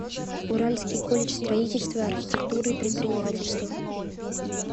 уральский колледж строительства архитектуры и предпринимательства